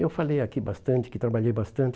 Eu falei aqui bastante, que trabalhei bastante.